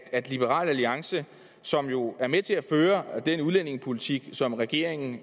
at liberal alliance som jo er med til at føre den udlændingepolitik som regeringen